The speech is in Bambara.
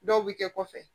Dɔw bɛ kɛ kɔfɛ